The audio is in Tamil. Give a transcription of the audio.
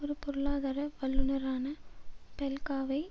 ஒரு பொருளாதார வல்லுனரான பெல்காவை